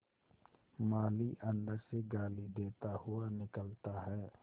माली अंदर से गाली देता हुआ निकलता है